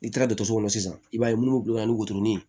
N'i taara dɔgɔtɔrɔso kɔnɔ sisan i b'a ye minnu bila ni wotoro ni